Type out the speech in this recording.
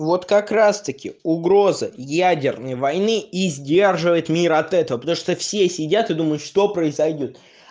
вот как раз таки угроза ядерной войны и сдерживает мир от этого потому что все сидят и думают что произойдёт